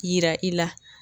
Yira i la.